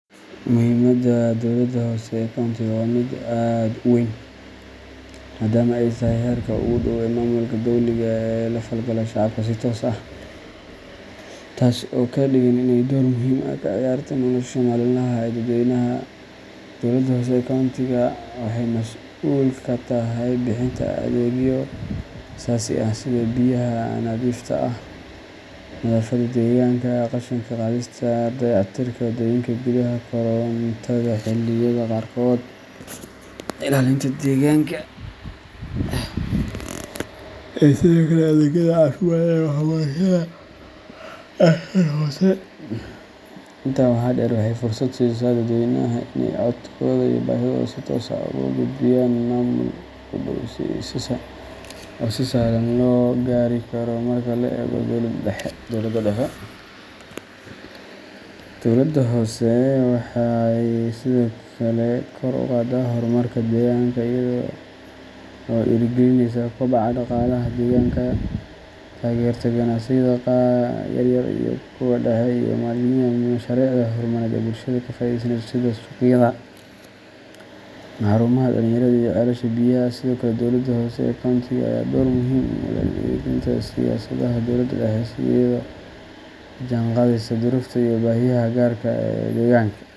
Muhiimada dowladda hoose ee countiga waa mid aad u weyn maadaama ay tahay heerka ugu dhow ee maamulka dowliga ah ee la falgala shacabka si toos ah, taas oo ka dhigan in ay door muhiim ah ka ciyaarto nolosha maalinlaha ah ee dadweynaha. Dowladda hoose ee countiga waxay mas'uul ka tahay bixinta adeegyo aasaasi ah sida biyaha nadiifta ah, nadaafadda deegaanka, qashinka qaadistiisa, dayactirka wadooyinka gudaha, korontada xilliyada qaarkood, ilaalinta deegaanka, iyo sidoo kale adeegyada caafimaadka iyo waxbarashada ee heer hoose. Intaa waxaa dheer, waxay fursad siisaa dadweynaha in ay codkooda iyo baahidooda si toos ah ugu gudbiyaan maamul u dhow oo si sahlan loo gaari karo marka loo eego dowladda dhexe. Dowladda hoose waxay sidoo kale kor u qaadaa horumarka degaanka iyada oo dhiirrigelisa koboca dhaqaalaha deegaanka, taageerta ganacsiyada yaryar iyo kuwa dhexe, iyo maalgashiga mashaariicda horumarineed ee bulshada ka faa’iideysanayso sida suuqyada, xarumaha dhalinyarada, iyo ceelasha biyaha. Sidoo kale, dowladda hoose ee countiga ayaa door muhiim ah ku leh hirgelinta siyaasadaha dowladda dhexe iyadoo la jaanqaadaysa duruufaha iyo baahiyaha gaarka ah ee deegaanka.